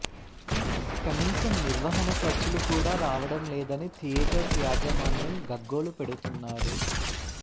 కనీసం నిర్వహణ ఖర్చులు కూడా రావడం లేదని థియేటర్స్ యాజమాన్యం గగ్గోలు పెడుతున్నారు